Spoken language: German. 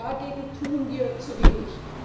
Dagegen tun wir zu wenig.